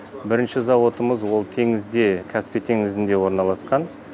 бірінші зауытымыз ол теңізде каспий теңізінде орналасқан